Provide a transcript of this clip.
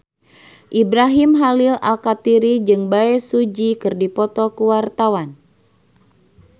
Ibrahim Khalil Alkatiri jeung Bae Su Ji keur dipoto ku wartawan